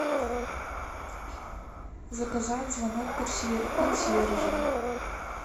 заказать звонок консьержа